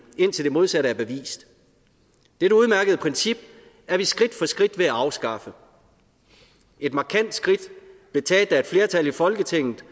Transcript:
indtil det modsatte er bevist dette udmærkede princip er vi skridt for skridt ved at afskaffe et markant skridt blev taget da et flertal i folketinget